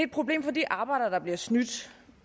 problem for de arbejdere der bliver snydt